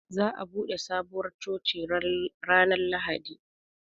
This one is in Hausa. Zaa bude Sabuwar coci ranar Lahadi.